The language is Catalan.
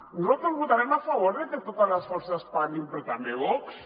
nosaltres votarem a favor de que totes les forces parlin però també vox